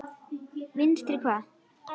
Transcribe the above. Vinstri hvað?